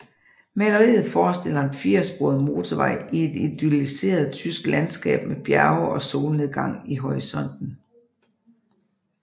Maleriet forestiller en firesporet motorvej i et idylliseret tysk landskab med bjerge og solnedgang i horisonten